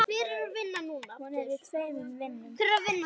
Hún er í tveimur vinnum.